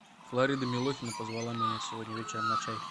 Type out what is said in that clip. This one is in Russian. флорида милохина позвала меня сегодня вечером на чай